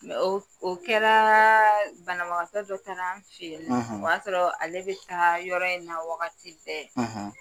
O kɛra banabagatɔ dɔ taar'an fen in nɔ o y'a sɔrɔ ale bɛ taa yɔrɔ in na wagati bɛ